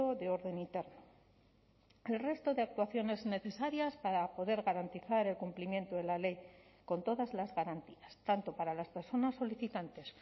de orden interno el resto de actuaciones necesarias para poder garantizar el cumplimiento de la ley con todas las garantías tanto para las personas solicitantes